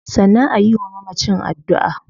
Sannan ayi wa mamacin addua